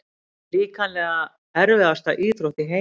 Líkamlega erfiðasta íþrótt í heimi?